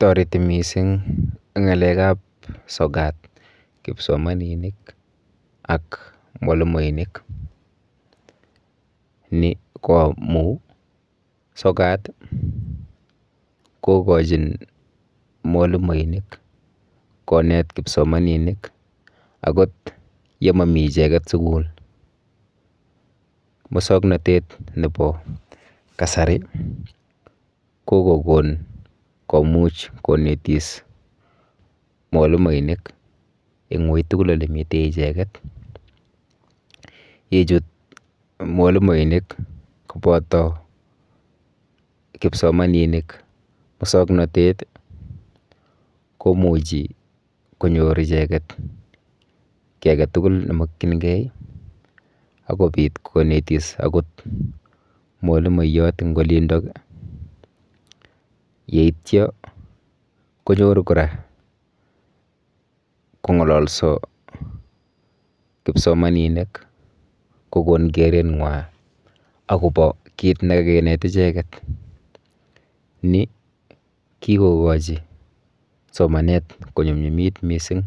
Toreti mising ng'alekap sokat kipsomaninik ak mwalimoinik. Ni ko amu sokat kokochin mwalimoinik konet kipsomaninik akot yemomi icheket sukul. Musoknotet nepo kasari kokokon komuch konetis mwalimoinik eng ui tugul olemite icheket. Yechut mwalimoinik kopoto kipsomaninik musoknotet komuchi konyor icheket kiy aketugul nemokchingei akopit konetis akot mwalimoiyot eng olindok yeityo kokon kora kong'ololso kipsomaninik kokon kereng'wa akopo kit nekakinet icheket. Ni kikokochi somanet konyumnyumis mising